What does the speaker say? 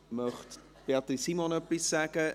Möchte Beatrice Simon etwas sagen?